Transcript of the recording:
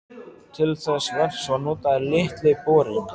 Til þess verks var notaður Litli borinn.